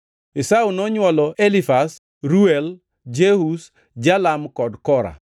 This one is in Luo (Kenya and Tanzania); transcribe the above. Esau nonywolo Elifaz, Reuel, Jeush, Jalam kod Kora.